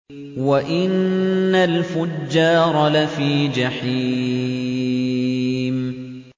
وَإِنَّ الْفُجَّارَ لَفِي جَحِيمٍ